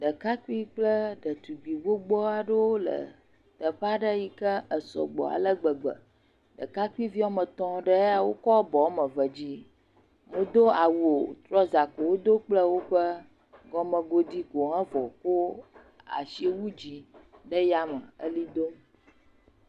Ɖekakpuiwo kple ɖetugbui aɖewo le teƒe aɖe yike sɔgbɔ alegbegbe ɖekakpuiviwo ame etɔ aɖewo ya kɔ abɔ woame eve dzi womedo awu o trɔza ko wodo kple gɔmegodi ko evɔ kɔ asi wu dzi ɣli dom